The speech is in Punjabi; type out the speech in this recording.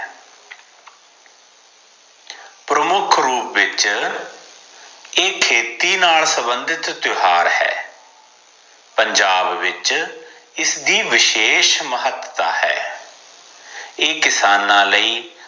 ਪ੍ਰਮੁੱਖ ਰੂਪ ਵਿਚ ਏ ਖੇਤੀ ਨਾਲ ਸੰਬੰਧਿਤ ਤਿਓਹਾਰ ਹੈ ਪੰਜਾਬ ਵਿਚ ਇਸ ਦੀ ਵਿਸ਼ੇਸ਼ ਮਹਤਤਾ ਹੈ ਏ ਕਿਸਾਨਾਂ ਲਈ